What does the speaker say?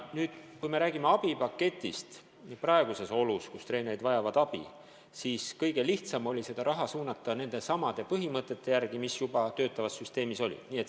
Nüüd, kui me räägime abipaketist praegustes oludes, kus treenerid vajavad abi, siis kõige lihtsam oli seda raha suunata nendesamade põhimõtete järgi, mis kehtisid juba töötavas süsteemis.